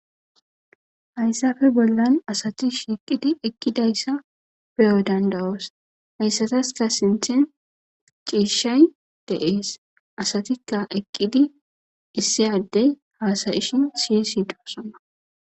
hayssafe bollan asati shiqidi eqqidayssa peyo dandawoos hayssataska sinthen ciishshay deees asatikka eqqidi issi addey haasayishin siy siitosona